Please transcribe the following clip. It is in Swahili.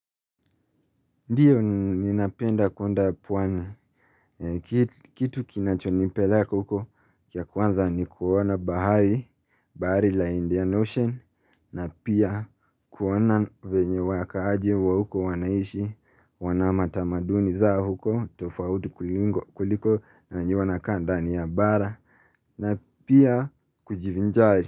Ndiyo ninapenda kwenda pwani, kitu kinachonipeleka huko kia kwanza ni kuona bahari, bahari la Indian Ocean, na pia kuona venye wakaaji wa huko wanaishi, wanama tamaduni za huko, tofauti kuliko na njiwa na kanda ni ya bara, na pia kujivinjari.